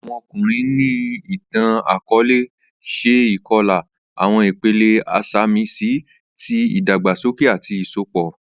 Awọn ọkunrin ni itan-akọọlẹ ṣe ikọla, awọn ipele isamisi ti idagbasoke ati isọpọ.